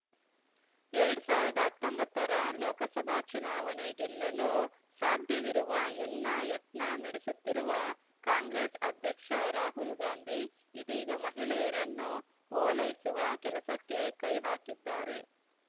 ಎರಡ್ ಸಾವ್ರ್ದಾ ಹತ್ತೊಂಬತ್ತರ ಲೋಕಸಭಾ ಚುನಾವಣೆ ಗೆಲ್ಲಲು ಸಾಧ್ಯವಿರುವ ಎಲ್ಲಾ ಯತ್ನ ನಡೆಸುತ್ತಿರುವ ಕಾಂಗ್ರೆಸ್‌ ಅಧ್ಯಕ್ಷ ರಾಹುಲ್‌ ಗಾಂಧಿ ಇದೀಗ ಮಹಿಳೆಯರನ್ನು ಓಲೈಸುವ ಕೆಲಸಕ್ಕೆ ಕೈ ಹಾಕಿದ್ದಾರೆ